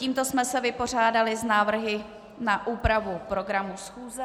Tímto jsme se vypořádali s návrhy na úpravu programu schůze.